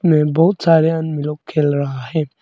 में बहुत सारे लोग खेल रहा है।